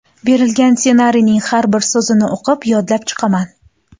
Berilgan ssenariyning har bir so‘zini o‘qib yodlab chiqaman.